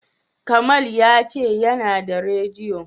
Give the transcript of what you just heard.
Kamal ya ce yana da radiyo.